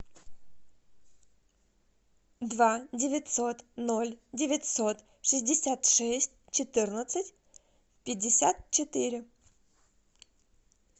два девятьсот ноль девятьсот шестьдесят шесть четырнадцать пятьдесят четыре